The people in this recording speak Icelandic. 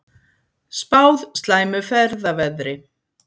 Spáð slæmu ferðaveðri